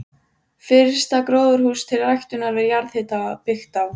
Fyrsta gróðurhús til ræktunar við jarðhita byggt á